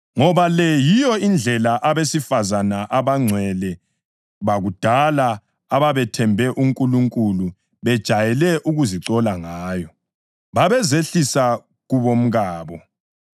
Ngoba le yiyo indlela abesifazane abangcwele bakudala ababethembe uNkulunkulu bejayele ukuzicola ngayo. Babezehlisa kubomkabo,